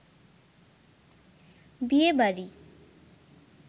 বিয়ে বাড়ি